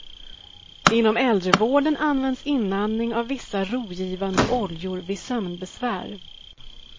Inom äldrevården används inandning av vissa rogivande oljor vid sömnbesvär.